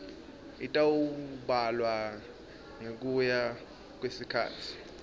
itawubalwa ngekuya kwesikhatsi